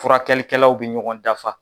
Furakɛlikɛlaw bɛ ɲɔgɔn dafa